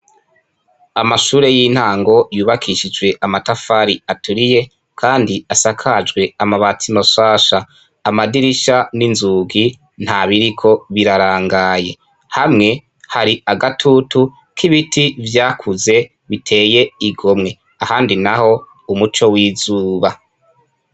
Amashure y'intango yubakishijwe amatafari aturiye, kandi asakajwe amabati mashasha. Amadirisha n'inzugi nta biriko birarangaye. Hamwe hari agatutu k'ibiti vyakuze biteye igomwe, ahandi naho umuco w'izuba.